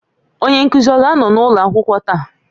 Onye nkuzi ọ ga-anọ n'ụlọ akwụkwọ taa?